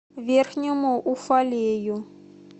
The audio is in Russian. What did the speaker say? верхнему уфалею